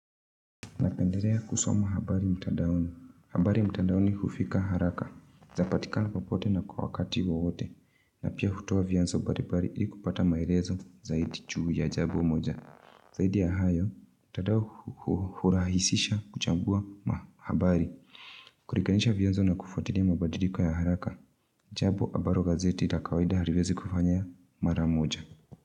Napenderea kusoma habari mtandaoni. Habari mtadaoni hufika haraka zapatikana popote na kwa wakati wowote. Na pia hutoa vyanzo baribari ili kupata maelezo zaidi chuu ya jabo moja. Zaidi ya hayo, mtandao hurahisisha kuchambua mahabari. Kurikanisha vyanzo na kufatilia mabadiliko ya haraka. Jabo abaro gazeti la kawaida haliwezi kufanya mara moja.